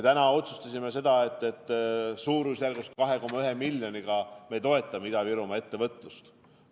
Täna me otsustasime, et toetame suurusjärgus 2,1 miljoniga Ida-Virumaa ettevõtlust.